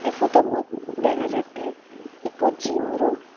ey puto bot dega jatte ekko jim rum.